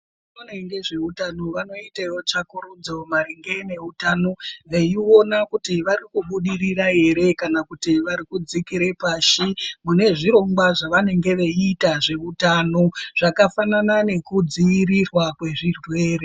Vanoona ngezveutano vanoitawo tsvakurudzo maringe neutano veione kuti vari kubudirira here kana kuti vari kudzikire pashi mune zvirongwa ,zvavanenge veiita zveutano zvafanana nekudziirirwa kwezvirwere.